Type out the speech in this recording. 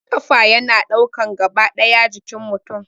Kafa yana ɗaukan gaba ɗaya jikin mutum